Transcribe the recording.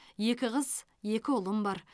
екі қыз екі ұлым бар